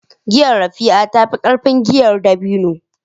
Giyar Raffia ta fi ƙarfin giyar dabino